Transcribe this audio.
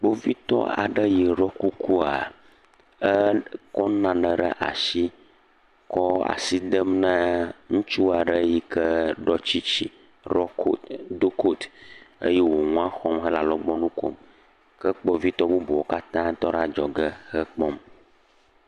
Kpovitɔ aɖe yi ɖɔ kukua eekɔ nane ɖe ashi kɔɔ asi dem naa ŋutsu aɖe yi ke ɖɔ tsitsi, rɔ ku, do koti. Eye wò ŋua xɔm he alɔgbɔnu kom. Ke kpovitɔ bubuwo katã tɔ ɖe adzɔge hekpɔm.